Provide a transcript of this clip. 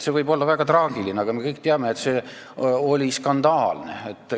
See võib olla väga traagiline, aga me kõik teame, et see lahkumine oli skandaalne.